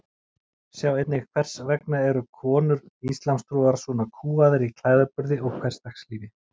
Sjá einnig Hvers vegna eru konur íslamstrúar svona kúgaðar í klæðaburði og hversdagslífi?